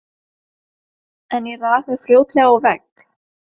En ég rak mig fljótlega á vegg.